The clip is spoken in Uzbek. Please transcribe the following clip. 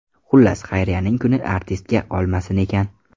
Xullas, xayriyaning kuni artistga qolmasin ekan.